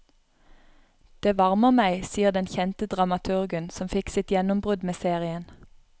Det varmer meg, sier den kjente dramaturgen, som fikk sitt gjennombrudd med serien.